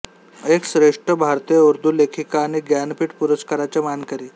एक श्रेष्ठ भारतीय उर्दू लेखिका आणि ज्ञानपीठ पुरस्काराच्या मानकरी